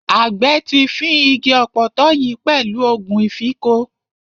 Àgbẹ̀ ti fín igi ọ̀pọ̀tọ́ yìí pẹ̀lú ògùn ìfínko.